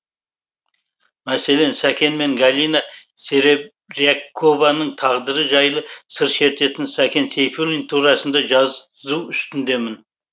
мәселен сәкен мен галина серебрякованың тағдыры жайлы сыр шертетін сәкен сейфуллин турасында жазу үстіндемін